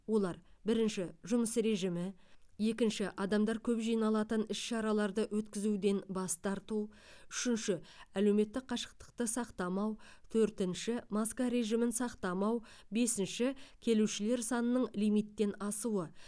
олар бірінші жұмыс режимі екінші адамдар көп жиналатын іс шараларды өткізуден бас тарту үшінші әлеуметтік қашықтықты сақтамау төртінші маска режимін сақтамау бесінші келушілер санының лимиттен асуы